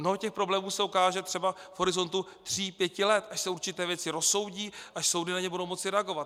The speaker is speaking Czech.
Mnoho těch problémů se ukáže třeba v horizontu tří pěti let, až se určité věci rozsoudí, až soudy na ně budou moci reagovat.